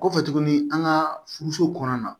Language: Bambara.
Kɔfɛ tuguni an ka furuso kɔnɔna na